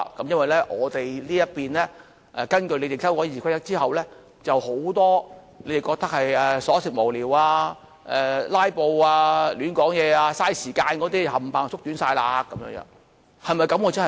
因為我們這一邊來說，根據你們建議所修改的《議事規則》，許多你們認為瑣屑無聊，"拉布"，亂說話，浪費時間的那些都統統縮短了。